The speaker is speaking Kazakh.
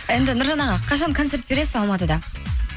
енді нұржан аға қашан концерт бересіз алматыда